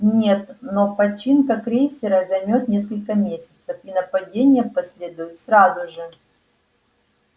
нет но починка крейсера займёт несколько месяцев и нападение последует сразу же